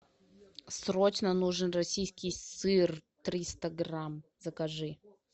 срочно нужен российский сыр триста грамм закажи